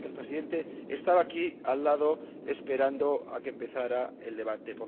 Y me consta que el Presidente estaba aquí al lado esperando a que empezara el debate.